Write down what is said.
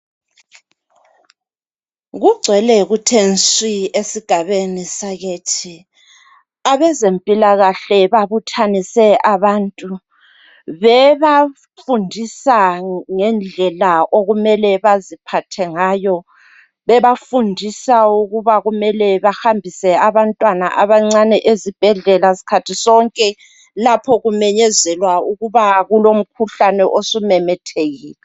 Kungcwele kuthe swii esigabeni sakithi abezempilakahle babuthanise abantu bebafundisa ngendlela okumele beziphathe ngayo bebafundisa ukubana kumele behambise abantwana abancane ezibhedlela skhathi sonke lapho kumenyezelwa ukuba kulomkhuhlane osumemethekile